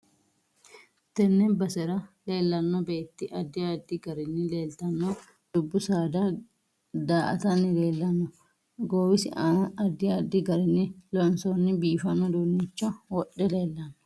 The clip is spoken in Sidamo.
Tenne basera leelanno beeti addi addi garinni leeltanno dubbu saada daa'tanni leelanno goowisi aana addi addi garinni loonsooni biifanno uduunicho wodhe leelanno